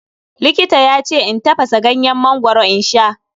Likita yace in tafasa ganyen mangoro in sha.